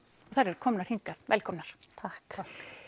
þær eru komnar hingað velkomnar takk